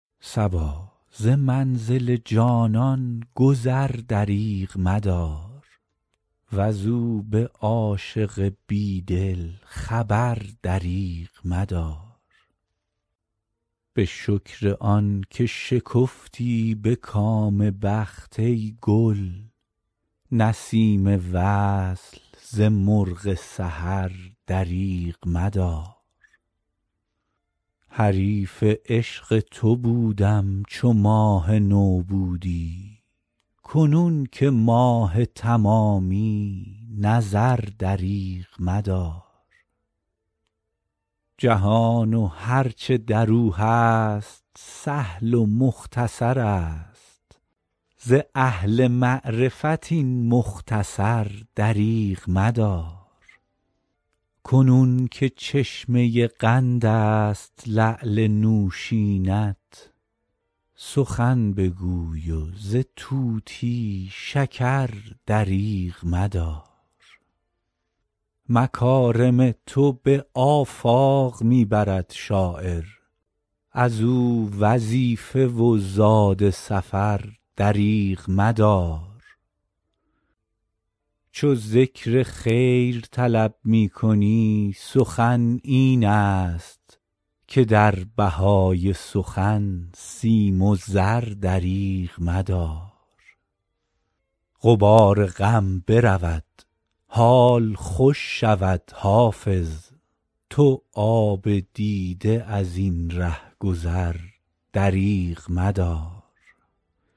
صبا ز منزل جانان گذر دریغ مدار وز او به عاشق بی دل خبر دریغ مدار به شکر آن که شکفتی به کام بخت ای گل نسیم وصل ز مرغ سحر دریغ مدار حریف عشق تو بودم چو ماه نو بودی کنون که ماه تمامی نظر دریغ مدار جهان و هر چه در او هست سهل و مختصر است ز اهل معرفت این مختصر دریغ مدار کنون که چشمه قند است لعل نوشین ات سخن بگوی و ز طوطی شکر دریغ مدار مکارم تو به آفاق می برد شاعر از او وظیفه و زاد سفر دریغ مدار چو ذکر خیر طلب می کنی سخن این است که در بهای سخن سیم و زر دریغ مدار غبار غم برود حال خوش شود حافظ تو آب دیده از این ره گذر دریغ مدار